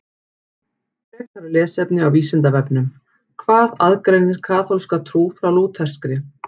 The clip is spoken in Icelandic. Frekara lesefni á Vísindavefnum Hvað aðgreinir kaþólska trú frá lúterskri?